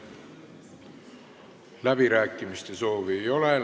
Läbirääkimiste soovi ei ole.